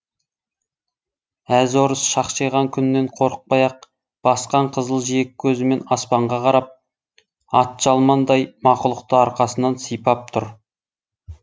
әз орыс шақшиған күннен қорықпай ақ басқан қызыл жиек көзімен аспанға қарап атжалмандай мақұлықты арқасынан сипап тұр